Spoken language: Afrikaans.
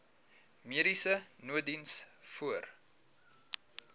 mediese nooddiens voor